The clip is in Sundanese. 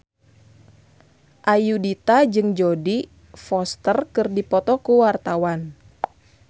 Ayudhita jeung Jodie Foster keur dipoto ku wartawan